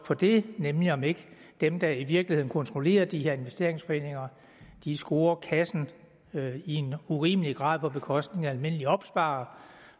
på det nemlig om ikke dem der i virkeligheden kontrollerer de her investeringsforeninger scorer kassen i en urimelig grad på bekostning af almindelige opsparere